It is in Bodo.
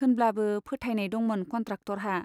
होनब्लाबो फोथायनाय दंमोन कन्ट्राक्टरहा।